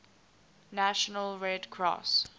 national red cross